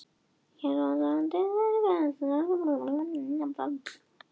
Hér á landi hrygna laxarnir á haustin og fyrri hluta vetrar.